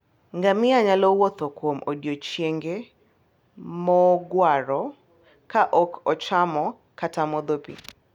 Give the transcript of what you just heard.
Ngamia nyalo wuotho kuom odiechienge mogwaro ka ok ochamo kata modho pi.